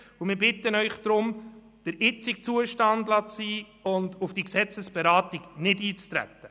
Deshalb bitten wir Sie, das Gesetz im jetzigen Zustand zu belassen und auf die Gesetzesberatung nicht einzutreten.